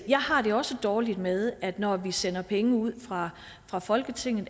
jeg har det også dårligt med at når vi sender penge ud fra fra folketinget